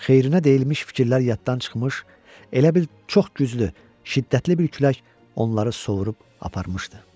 Xeyrinə deyilmiş fikirlər yaddan çıxmış, elə bil çox güclü, şiddətli bir külək onları sovurub aparmışdı.